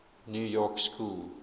new york school